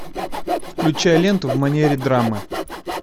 включай ленту в манере драмы